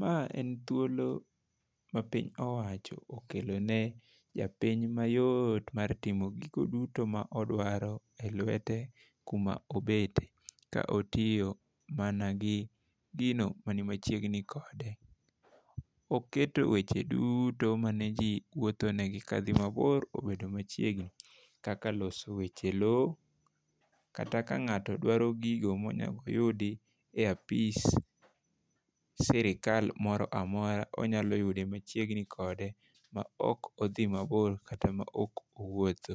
Ma en thuolo ma piny owacho okelo ne jopiny mayot mar timo gigo duto ma odwaro e lwete kuma obete, ka otiyo mana gi gino mani machiegni kode. Oketo weche duto mane jii wuotho ne gi kadhi mabor obedo machiegni kakak loso weche lowo, kata ka ng'ato dwaro gigo monego oyudi e apis sirikal moramora, onyalo yude machiegni kode ma ok odhi mabor kata ma ok owuotho.